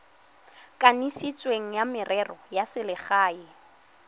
kanisitsweng wa merero ya selegae